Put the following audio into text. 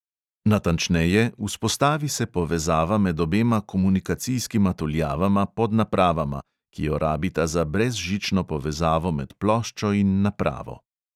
Natančneje, vzpostavi se povezava med obema komunikacijskima tuljavama pod napravama, ki jo rabita za brezžično povezavo med ploščo in napravo.